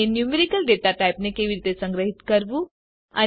અને numerical data ને કેવી રીતે સંગ્રહીત કરવું